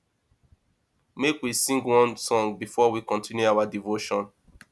make we sing one song before we continue our devotion